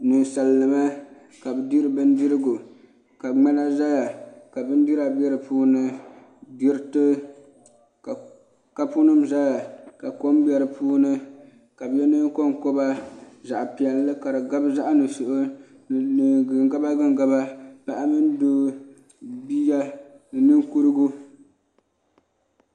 Ninsal nima ka bi diri bindirigu ka ŋmana ʒɛya ka bindira bɛ di puuni diriti ka kapu nim ʒɛya ka kom bɛ di puuni ka bi yɛ neen konkoba zaɣ piɛlli ka di gabi zaɣ nuɣso ni gingaba gingaba paɣa mini doo bia ni ninkurigu